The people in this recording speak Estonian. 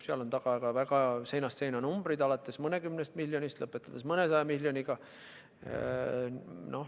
Seal on taga väga seinast seina numbrid, alates mõnekümnest miljonist, lõpetades mõnesaja miljoniga.